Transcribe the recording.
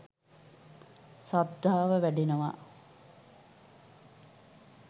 ශ්‍රද්ධාව වැඩෙනව.